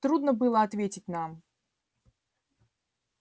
трудно было ответить нам